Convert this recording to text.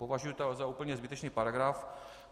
Považuji to za úplně zbytečný paragraf.